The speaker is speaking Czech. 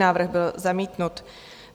Návrh byl zamítnut.